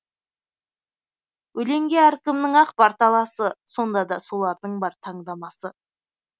өлеңге әркімнің ақ бар таласы сонда да солардың бар таңдамасы